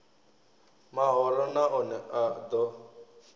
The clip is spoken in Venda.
mahoro na one a ḓo